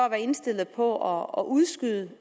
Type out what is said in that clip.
indstillet på at udskyde det